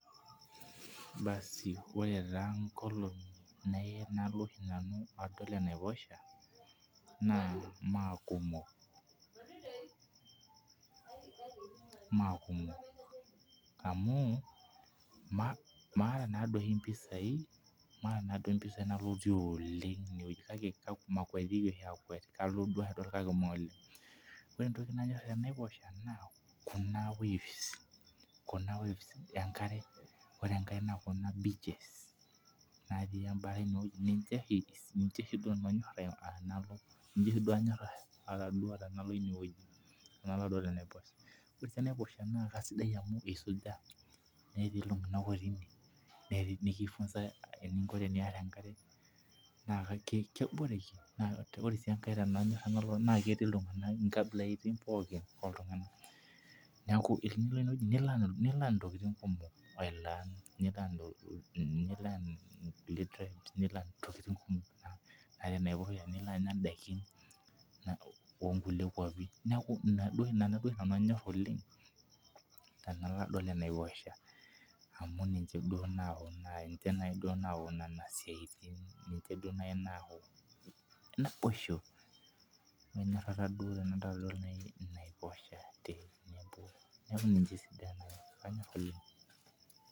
Baaasi ore taa inkolong'i nalo oshi nanu adol anaiposha naa maa kumok, maa kumok amu mataa maata naa dii oshi impisai nalotie oleng' ineweji kake mamakuatiki oshi akwet kalo duo ake adol kakee maa oleng' ,ore entoki nanyorr tenaiposha naa kuna waves ekare ,ore enkae nabo na beaches natii ebata ineweji ninche duo oshi nanu anyorr atadua tenalo ineweji ,ore sii enaiposha naa isuja netii iltung'anak ootii ine niki funza eninko piyarr enkare, naa keboreki naa ore sii enkae nanyorie naa ketii iltung'anak inkabilaitin pookin oltung'anak, nekuu tenilo ine weji ni learn intokiting' kumok nilo anya indaikin oo nkulie kwapin, naa ina duo oshi nanu anyorr oleng' tenalo adol anaiposha amuu ninche naii duo nayau nena siaitin, enyorara duo nayii enaiposha.